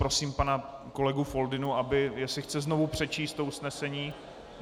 Prosím pana kolegu Foldynu, jestli chce znovu přečíst to usnesení.